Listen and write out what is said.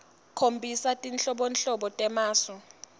khombisa tinhlobonhlobo temasu